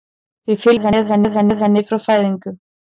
Við fylgjumst með henni frá fæðingu.